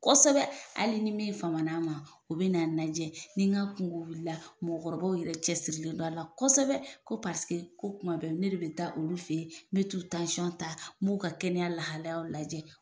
Kosɛbɛ, hali ni min fama n'a ma, o bina lajɛ ni n ka kungo wulila mɔgɔw yɛrɛ cɛ sirisirilen dɔ a la kosɛbɛ ko paseke ko kuma bɛɛ ne re bi taa olu fɛ yen, n bɛ t'u ta, n b'u ka ka kɛnɛya lahalayaw lajɛ